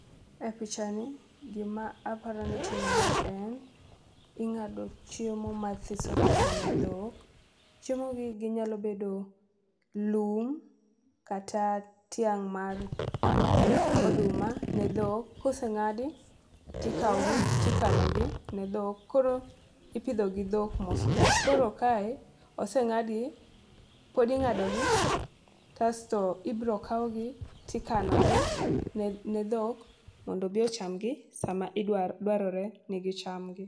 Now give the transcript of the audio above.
E picha ni, gima aparo ni timore en ing'ado chiemo mathiso thiso ne dhok, chiemo gi ginyalo bedo lum kata tiang' mar oduma ne dhok. Koseng'adi tikawo gi tikano gi ne dhok koro ipidho gi dhok mos mos . Koro kae oseng'adgi ,pod ing'ado gi kasto ibro kawgi tikano gi ne ne dhok mondo odhi ocham gi sama idwar dwarore ni gicham gi.